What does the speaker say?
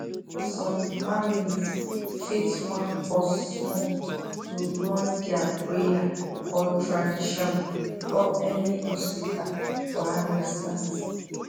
some families fit wan pause small to run their prayer or tradition before any hospital wahala start